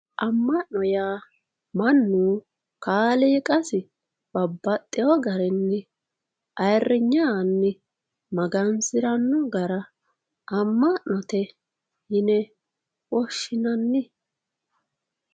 amma'no yaa mannu kaaliiqasi babbaxino garinni ayiirinye aanni magansiranno gara amma'note yine woshshinanni.